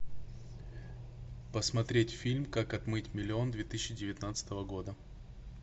посмотреть фильм как отмыть миллион две тысячи девятнадцатого года